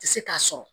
Tɛ se k'a sɔrɔ